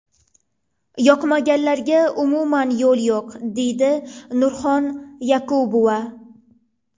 Yoqmaganlarga umuman yo‘l yo‘q”, deydi Nurxon Yakubova.